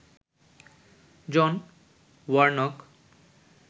John Warnock